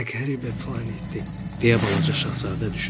Nə qəribə planetdir, deyə balaca Şahzadə düşündü.